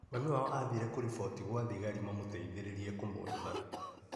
Mami wao athire kũriboti kwa thigari mamũteithĩrĩrie kũmwetha.